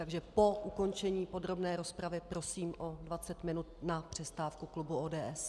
Takže po ukončení podrobné rozpravy prosím o 20 minut na přestávku klubu ODS.